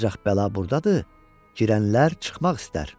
Ancaq bəla burdadır, girənlər çıxmaq istər.